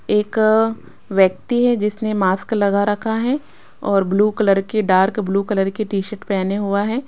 एक व्यक्ति है जिसने मास्क लगा रखा है और ब्लू कलर की डार्क ब्लू कलर की टी शर्ट पहने हुआ है।